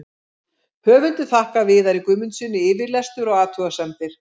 Höfundur þakkar Viðari Guðmundssyni yfirlestur og athugasemdir.